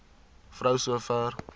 vrou so ver